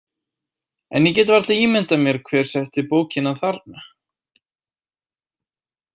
En ég get varla ímyndað mér hver setti bókina þarna.